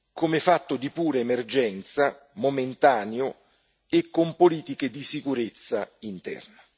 come fatto di pura emergenza, momentaneo e con politiche di sicurezza interna.